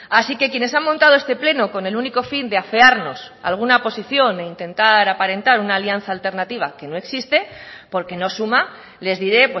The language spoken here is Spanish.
así que quienes han montado este pleno con el único fin de afearnos alguna posición e intentar aparentar una alianza alternativa que no existe porque no suma les diré